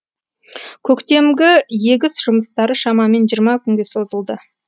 көктемгі егіс жұмыстары шамамен жиырма күнге созылды